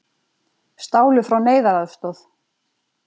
Stálu frá neyðaraðstoð